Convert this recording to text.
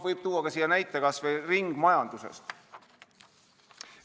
Võib tuua näiteks kas või ringmajanduse.